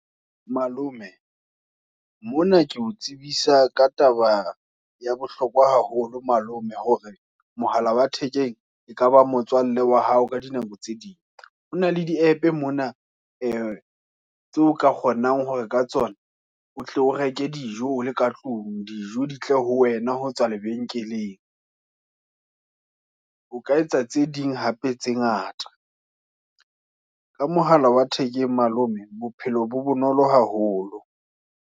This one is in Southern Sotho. Malome, mona ke o tsebisa ka taba ya bohlokwa haholo malome, hore mohala wa thekeng e kaba motswalle wa hao ka dinako tse ding, hona le di app mona e tseo ka kgonang hore ka tsona, o tle o reke dijo o le ka tlung, dijo ditle ho wena ho tswa lebenkeleng. O ka etsa tse ding hape, tse ngata. Ka mohala wa thekeng malome, bophelo bo bonolo haholo.